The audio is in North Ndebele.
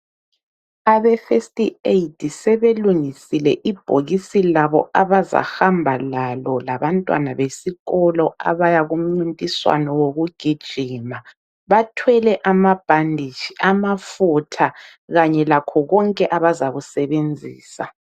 Abe first aid sebelungisile ibhokisi labo abazahamba lalo labantwana besikolo abaya kumncintiswano wokugijima. Bathwele amabhanditshi, amafutha kanye lakho konke abazakusebenzisa.